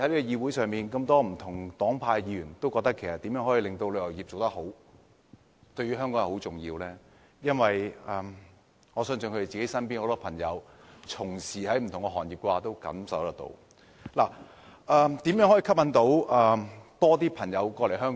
議會中不同黨派的議員都覺得旅遊業對香港很重要，我相信是因為他們見到身邊從事不同行業的朋友都受到旅遊業衰退的影響。